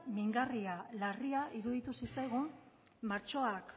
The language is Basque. mingarria larria iruditu zitzaigun martxoak